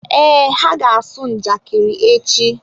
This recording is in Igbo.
Ee, ha ga-asụ njakịrị echi.